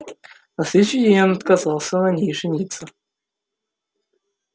на следующий день он отказался на ней жениться